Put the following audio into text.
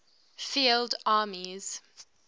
field armies